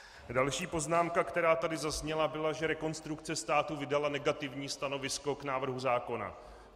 Další poznámka, která tady zazněla, byla, že Rekonstrukce státu vydala negativní stanovisko k návrhu zákona.